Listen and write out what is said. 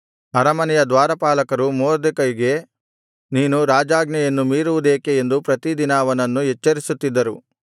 ಅರಮನೆಯ ದ್ವಾರಪಾಲಕರು ಮೊರ್ದೆಕೈಗೆ ನೀನು ರಾಜಾಜ್ಞೆಯನ್ನು ಮೀರುವುದೇಕೆ ಎಂದು ಪ್ರತಿದಿನ ಅವನನ್ನು ಎಚ್ಚರಿಸುತ್ತಿದ್ದರು